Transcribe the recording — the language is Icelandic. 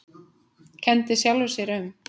Kenndi sjálfum sér um.